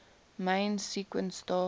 main sequence star